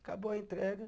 Acabou a entrega.